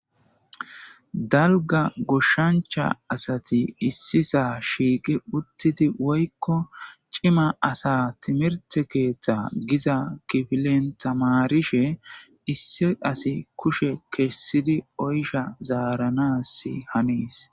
dalga goshshancha asati issi saa shiiqi uttidi woykko cima asa timirte keeththa giza kifilen tamarishe issi asi kushe kessidi oysha zaaranasi hanes